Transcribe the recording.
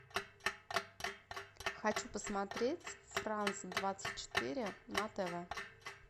хочу посмотреть франс двадцать четыре на тв